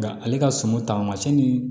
Nga ale ka suma taamasiyɛn ni